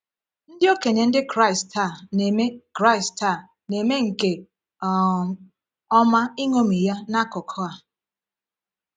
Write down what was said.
Ndị okenye Ndị Kraịst taa na-eme Kraịst taa na-eme nke um ọma iṅomi Ya n’akụkụ a.